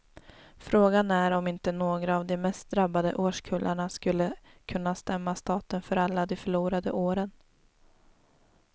Frågan är om inte några av de mest drabbade årskullarna skulle kunna stämma staten för alla de förlorade åren.